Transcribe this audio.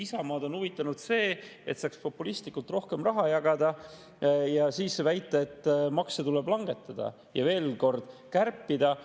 Isamaad on huvitanud see, et saaks populistlikult rohkem raha jagada ja siis väita, et makse tuleb langetada ja üht-teist kärpida.